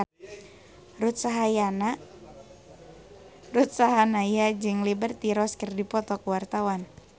Ruth Sahanaya jeung Liberty Ross keur dipoto ku wartawan